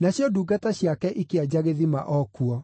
nacio ndungata ciake ikĩenja gĩthima o kuo.